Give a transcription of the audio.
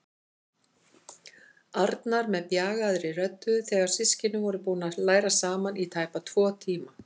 Arnar með bjagaðri rödd þegar systkinin voru búin að læra saman í tæpa tvo tíma.